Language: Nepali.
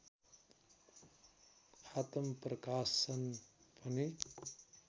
आत्मप्रकाशन पनि